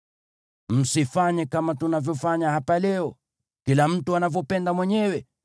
Msifanye kama tunavyofanya hapa leo, kila mtu anavyopenda mwenyewe,